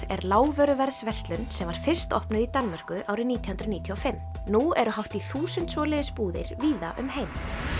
er lágvöruverðsverslun sem var fyrst opnuð í Danmörku árið nítján hundruð níutíu og fimm nú eru hátt í þúsund svoleiðis búðir víða um heim